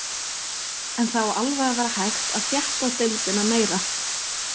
En það á alveg að vera hægt að þétta deildina meira.